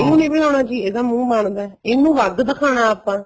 ਇਹਨੂੰ ਨੀਂ ਬੁਲਾਣਾ ਸੀ ਇਹ ਤਾਂ ਮੁਹੰ ਮਨਦਾ ਇਨੂੰ ਵੱਧ ਦਿਖਾਣਾ ਆਪਾਂ